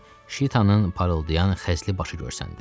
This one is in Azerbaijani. Ordan şitanın parıldayan xəzli başı görsəndi.